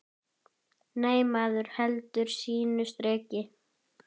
Nei, maður heldur sínu striki.